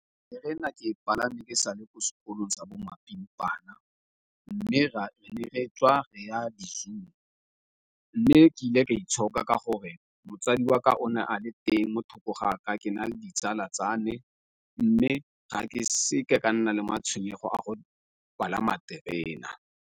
Terena ke palame ke sa le ko sekolong tsa bo mapimpana mme ne re tswa re ya di-zoo, mme ke ile ka itshoka ka gore motsadi wa ka o ne a le teng mo thoko ga ka ke na le ditsala tsa ne mme ga ke seke ka nna le matshwenyego a go palama terena.